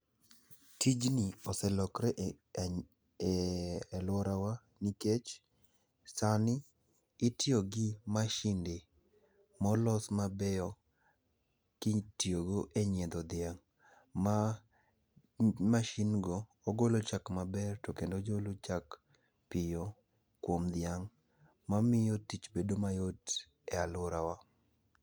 Tijni oselokre e e e luorawa nikech sani itiyo gi masinde molos mabeyo kitiyo go e nyiedho dhiang' ma ma masin go. Ogolo chak maber to kendo ogolo chak piyo kuom dhiang' mamiyo tich bedo mayot e aluorawa.